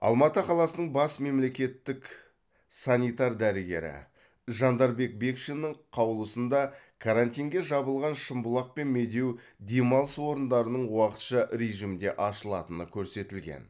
алматы қаласының бас мемлекеттік санитар дәрігері жандарбек бекшиннің қаулысында карантинге жабылған шымбұлақ пен медеу демалыс орындарының уақытша режимде ашылатыны көрсетілген